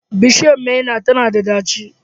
Bishiyar maina tana da ɗaci